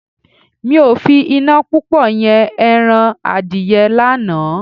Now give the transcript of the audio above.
Mi ò fi iná púpọ̀ yan ẹran Adìyẹ lánàá.